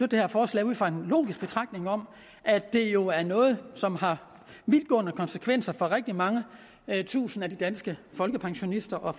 det her forslag ud fra en logisk betragtning om at det jo er noget som har vidtgående konsekvenser for de rigtig mange tusinde danske folkepensionister og